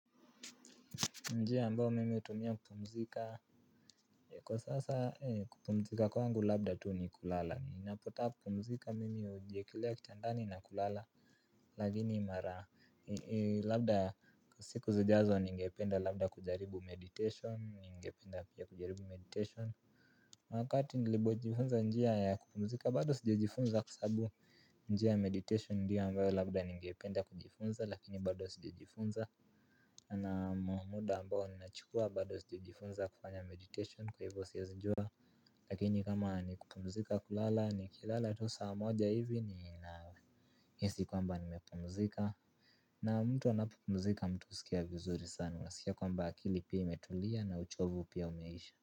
Njia ambayo mimi hutumia kupumzika. Kwa sasa kupumzika kwangu labda tu ni kulala. Ninapotaka kupumzika mimi hujiekelea kitandani na kulala. Lakini mara labda siku zijazo ningependa labda kujaribu meditation. Ningependa pia kujaribu meditation wakati nilipo jifunza njia ya kupumzika bado sijajifunza. Kwa sababu njia ya meditation ndiyo ambayo labda ningependa kujifunza. Lakini bado sijajifunza. Na muda ambao ninachukua bado sijajifunza kufanya meditation kwa hivyo siwezi jua. Lakini kama nikupumzika kulala nikilala tu saa moja hivi nina hisi kwamba nimepumzika. Na mtu anapo pumzika mtu husikia vizuri sana unasikia kwamba akili pia imetulia na uchovu pia umeisha.